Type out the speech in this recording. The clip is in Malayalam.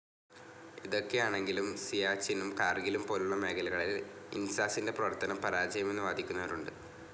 ഇതൊക്കെയാണെങ്കിലും സിയാച്ചിനും കാർഗിലും പോലുളള മേഖലകളിൽ ഇൻസാസിൻ്റെ പ്രവർത്തനം പരാജയമെന്ന് വാദിക്കുന്നവരുണ്ട്.